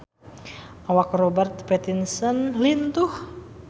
Awak Robert Pattinson lintuh